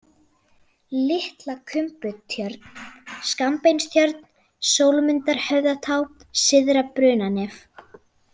Litla-Kumbutjörn, Skammbeinstjörn, Sólmundarhöfðatá, Syðra-Brunanef